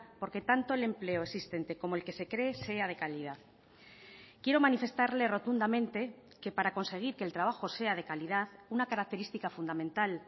porque tanto el empleo existente como el que se cree sea de calidad quiero manifestarle rotundamente que para conseguir que el trabajo sea de calidad una característica fundamental